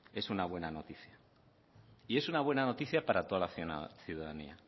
es una buena noticia y es una buena noticia para toda la ciudadanía